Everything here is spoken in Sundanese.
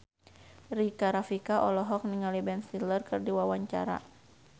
Rika Rafika olohok ningali Ben Stiller keur diwawancara